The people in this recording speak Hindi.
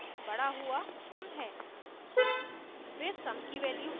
इसमें हमारे पास बड़ा हुआ sum है